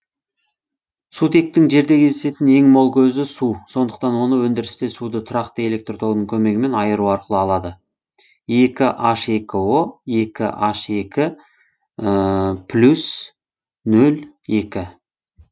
сутектің жерде кездесетін ең мол көзі су сондықтан оны өндірісте суды тұрақты электр тогының көмегімен айыру арқылы алады екі н ек о екі н екі плюс нөл екі